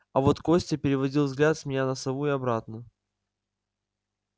а вот костя переводил взгляд с меня на сову и обратно